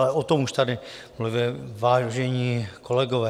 Ale o tom už tady mluvili vážení kolegové.